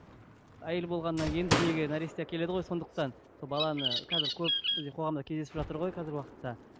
әйел болғаннан кейін дүниеге нәресте әкеледі ғой сондықтан сол баланы қазір көп бізде қоғамда кездесіп жатыр ғой қазіргі уақытта